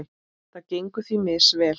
Það gengur því misvel.